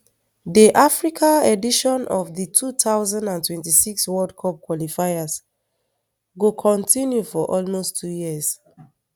di africa edition of di two thousand and twenty-six world cup qualifiers go kontinu for almost two years